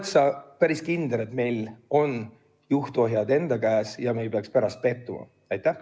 Kas sa oled päris kindel, et juhtohjad on meie enda käes ja me ei pea pärast pettuma?